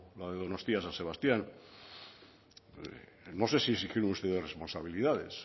la de donostia san sebastián no sé si exigieron ustedes responsabilidades